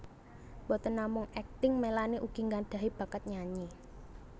Boten namung akting Melanie ugi nggadhahi bakat nyanyi